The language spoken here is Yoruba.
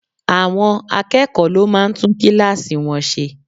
Àwọn akẹ́kọ̀ọ́ ló máa ń tún kíláàsì wọn ṣe.